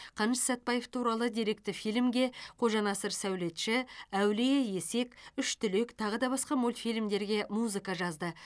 қаныш сәтбаев туралы деректі фильмге қожанасыр сәулетші әулие есек үш түлек тағы да басқа мультфильмдерге музыка жазды